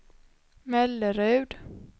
Mellerud